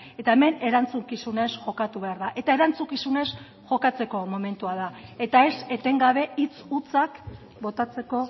eta hemen erantzukizunez jokatu behar da eta erantzukizunez jokatzeko momentua da eta ez etengabe hitz hutsak botatzeko